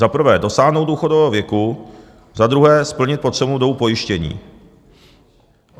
Za prvé dosáhnout důchodového věku, za druhé splnit potřebnou dobu pojištění.